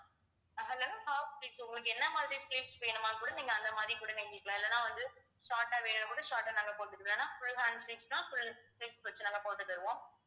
half sleeves உங்களுக்கு என்ன மாதிரி sleeves வேணுமான்னு கூட நீங்க அந்த மாதிரி கூட வாங்கிக்கலாம் இல்லன்னா வந்து short ஆ வேணும்னா கூட short ஆ நாங்க போட்டுக்கலாம் ஏன்னா full hand sleeves ன்னா full வச்சு நாங்க போட்டு தருவோம்